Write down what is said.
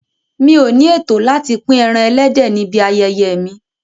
Mi ò ní ètò láti pín ẹran ẹlẹ́dẹ̀ níbi ayẹyẹ mi.